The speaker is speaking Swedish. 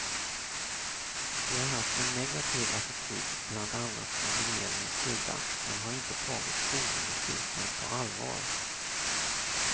Vi har haft en negativ attityd bland annat från regeringens sida, man har inte tagit skolgymnastiken på allvar.